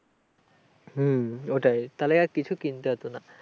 হম ওইটাই তাহলে আর কিছুই কিনতে হয়তো না ।